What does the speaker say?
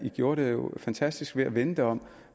gjorde det fantastisk ved at vende det om